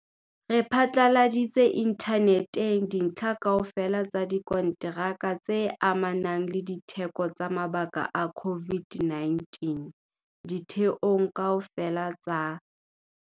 Re phatlaladitse inthaneteng dintlha kaofela tsa dikonteraka tse amanang le ditheko tsa mabaka a COVID-19 ditheong kaofela tsa